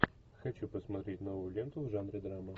хочу посмотреть новую ленту в жанре драма